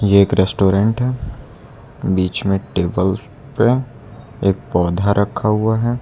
ये के एक रेस्टोरेंट है बीच में टेबल्स पे एक पौधा रखा हुआ है।